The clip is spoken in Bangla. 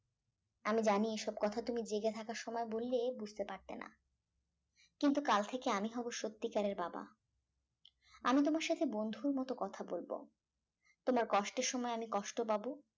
আমি জানি এসব কথা তুমি জেগে থাকার সময় বললে বুঝতে পারতে না কিন্তু কাল থেকে আমি হবো সত্যিকারের বাবা আমি তোমার সাথে বন্ধুর মত কথা বলবো তোমার কষ্টের সময় আমি কষ্ট পাবো